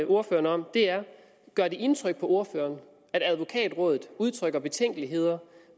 ordføreren om er gør det indtryk på ordføreren at advokatrådet udtrykker betænkeligheder